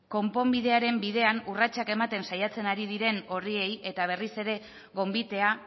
konponbidearen bidean urratsak ematen saiatzen ari diren horiei eta berriz ere gonbitea